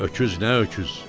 Öküz nə öküz?